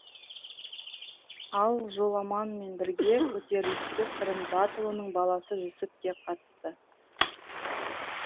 ал жоламанмен бірге көтеріліске сырым датұлының баласы жүсіп те қатысты